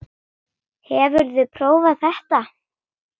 Hefurðu prófað þetta?